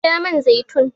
Sha man zaitun!